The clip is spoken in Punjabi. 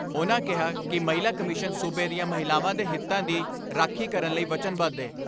ਉਨ੍ਹਾਂ ਕਿਹਾ ਕਿ ਮਹਿਲਾ ਕਮਿਸ਼ਨ ਸੂਬੇ ਦੀਆਂ ਮਹਿਲਾਵਾਂ ਦੇ ਹਿੱਤਾਂ ਦੀ ਦੀ ਰਾਖੀ ਕਰਨ ਲਈ ਵਚਨਬੱਧ ਏ।